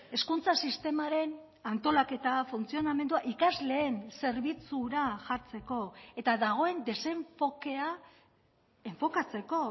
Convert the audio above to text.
hezkuntza sistemaren antolaketa funtzionamendua ikasleen zerbitzura jartzeko eta dagoen desenfokea enfokatzeko